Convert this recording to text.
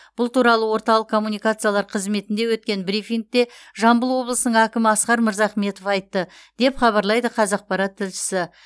бұл туралы орталық коммуникациялар қызметінде өткен брифингте жамбыл облысының әкімі асқар мырзахметов айтты деп хабарлайды қазақпарат тілшісі